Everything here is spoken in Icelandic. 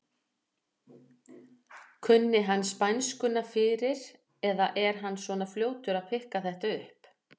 Kunni hann spænskuna fyrir eða er hann svona fljótur að pikka þetta upp?